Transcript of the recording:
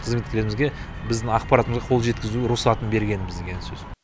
қызметтерімізге біздің ақпаратымызға қол жеткізу рұқсатын бергеніміз деген сөз